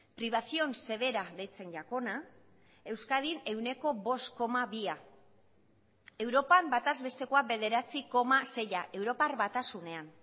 privación severa deitzen jakona euskadin ehuneko bost koma bia europan bataz bestekoa bederatzi koma seia europar batasunean